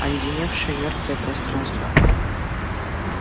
оледеневшее мёртвое пространство